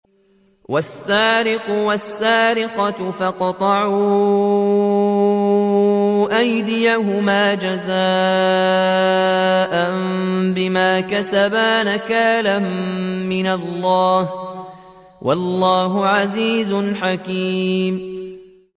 وَالسَّارِقُ وَالسَّارِقَةُ فَاقْطَعُوا أَيْدِيَهُمَا جَزَاءً بِمَا كَسَبَا نَكَالًا مِّنَ اللَّهِ ۗ وَاللَّهُ عَزِيزٌ حَكِيمٌ